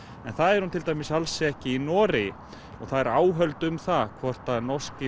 en það er hún til dæmis alls ekki í Noregi og það eru áhöld um það hvort norski